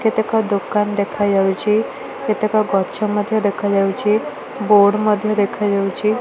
କେତେକ ଦୋକାନ ଦେଖାଯାଉଛି। କେତେକ ଗଛ ମଧ୍ଯ ଦେଖାଯାଉଛି ବୋର୍ଡ ମଧ୍ଯ ଦେଖାଯାଉଛି।